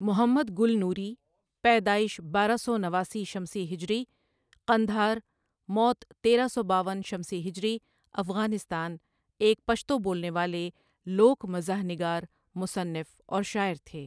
محمد گل نوری, پیدائش بارہ سو نواسی شمسی ہجری، قندھار، موت تیرہ سو باون شمسی ہجری افغانستان، ایک پشتو بولنے والے لوک مزاح نگار ، مصنف اور شاعر تھے